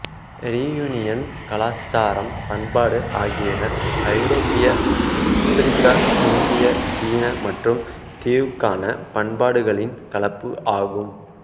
இரீயூனியனின் கலாசாரம் பண்பாடு ஆகியன ஐரோப்பிய ஆப்பிரிக்க இந்திய சீன மற்றும் தீவுக்கான பண்பாடுகளின் கலப்பு ஆகும்